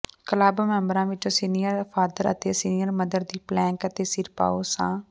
club ਮੈਂਬਰਾਂ ਵਿੱਚੋਂ senior father ਅਤੇ ਸੀਨੀਅਰ ਮਦਰ ਦੀ ਪਲੈਕ ਅਤੇ ਸਿਰਪਾਓ ਸ